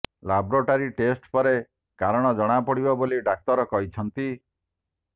laboratory test ପରେ କାରଣ ଜଣା ପଡିବ ବୋଲି ଡାକ୍ତର କହିଛନ୍ତି